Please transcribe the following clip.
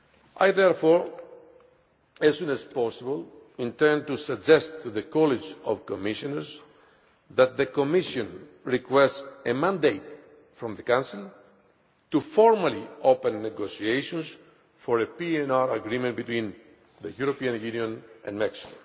I therefore, as soon as possible, intend to suggest to the College of Commissioners that the Commission request a mandate from the Council to formally open negotiations for a PNR agreement between the European Union and Mexico.